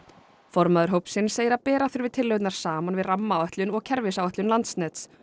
formaður hópsins segir að bera þurfi tillögurnar saman við rammaáætlun og kerfisáætlun Landsnets